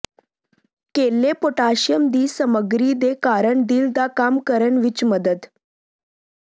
ਕੇਲੇ ਪੋਟਾਸ਼ੀਅਮ ਦੀ ਸਮੱਗਰੀ ਦੇ ਕਾਰਨ ਦਿਲ ਦਾ ਕੰਮ ਕਰਨ ਵਿੱਚ ਮਦਦ